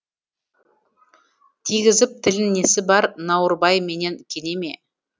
тигізіп тілін несі бар науырбай менен кенеме